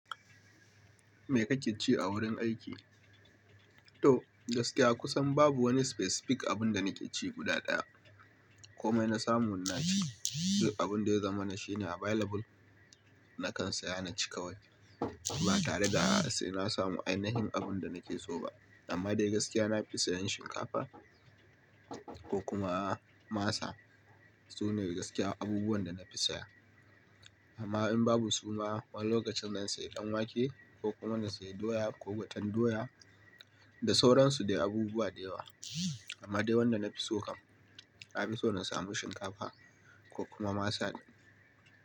Me ka ƙi ci a wurin aiki? To gaskiya kusan babu wani specific abun da nake ci guda ɗaya. Komai na samu ina ci. Sai abun da ya zama na shi ne available, nakan saya na ci kawai. Ba tare da a'a sai na samu ainihin abun da nake so ba. Amma dai gaskiya na fi sayan shinkafa ko kuma maasa. Sune gaskiya abubuwan da na fi saya. Amma in babu su ma wani lokacin zan sayi ɗanwake ko kuma na sayi doya ko gwaten doya da sauransu dai abubuwa da yawa. Amma dai wanda na fi so kam, na fi so na samu shinkafa ko kuma maasa.